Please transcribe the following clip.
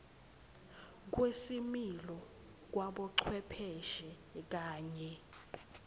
kwesimilo kwabocwepheshe kanye